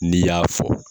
N'i y'a fɔ